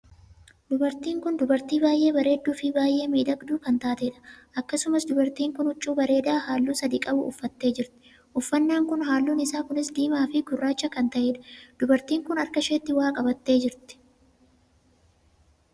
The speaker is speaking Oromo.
Dubartiin kun dubartii baay'ee bareedduu fi baay'ee miidhagduu kan taatedha. akkasumas dubartiin kun huccuu bareedaa halluu sadii qabu uffattee jirti. uffannaan kun halluun isaa kunis diimaa fi gurraacha kan tahedha. dubartiin kun harka isheetti waa qabattee jirti.